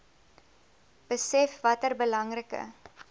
besef watter belangrike